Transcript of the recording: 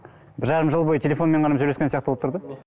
бір жарым жыл бойы телефонмен ғана сөйлескен сияқты болып тұр да